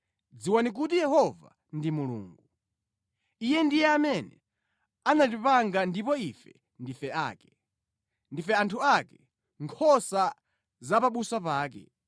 Dziwani kuti Yehova ndi Mulungu. Iye ndiye amene anatipanga ndipo ife ndife ake; ndife anthu ake, nkhosa za pabusa pake.